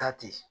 Taa ten